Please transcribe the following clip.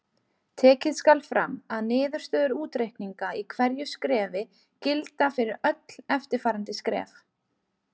Tekið skal fram að niðurstöður útreikninga í hverju skrefi gilda fyrir öll eftirfarandi skref.